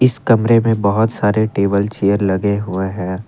इस कमरे में बहुत सारे टेबल चेयर लगे हुए हैं।